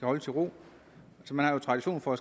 holdes i ro man har jo tradition for at